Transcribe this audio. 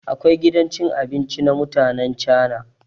Akwai gidan cin abinci na mutanen cana.